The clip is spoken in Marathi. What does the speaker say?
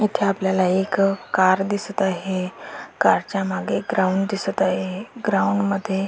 इथे आपल्याला एक कार दिसत आहे कारच्या मागे एक ग्राउंड दिसत आहे ग्राउंडमध्ये --